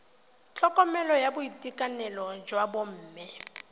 tlhokomelo ya boitekanelo jwa bomme